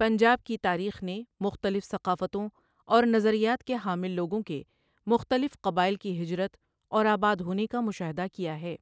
پنجاب کی تاریخ نے مختلف ثقافتوں اور نظریات کے حامل لوگوں کے مختلف قبائل کی ہجرت اور آباد ہونے کا مشاہدہ کیا ہے،